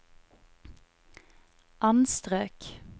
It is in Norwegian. anstrøk